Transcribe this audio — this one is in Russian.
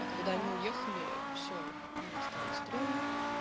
а когда они уехали все мне стало стремно